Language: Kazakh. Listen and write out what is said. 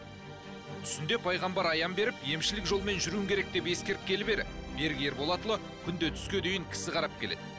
түсінде пайғамбар аян беріп емшілік жолмен жүруің керек деп ескерткелі бері берік ерболатұлы күнде түске дейін кісі қарап келеді